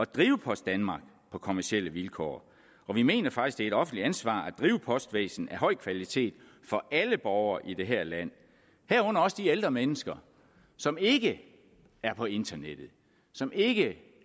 drive post danmark på kommercielle vilkår vi mener faktisk et offentligt ansvar at drive postvæsen af høj kvalitet for alle borgere i det her land herunder også de ældre mennesker som ikke er på internettet som ikke